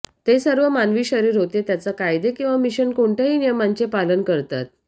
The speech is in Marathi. ते सर्व मानवी शरीर होते त्याच्या कायदे किंवा मिशन कोणत्याही नियमांचे पालन करतात